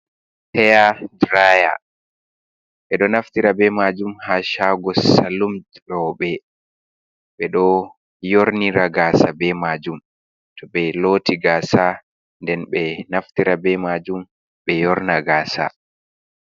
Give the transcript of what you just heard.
Heya draya , ɓe ɗo naftira be majum ha shago salun robe. Ɓe ɗo yornira gasa be majum to ɓe loti gasa. Nden ɓe ɗo naftira be majum ɓe yorna gasa.